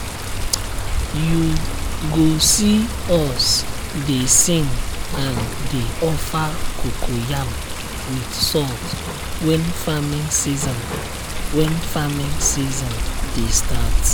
you go see us dey sing and dey offer cocoyam with salt when farming season when farming season dey start.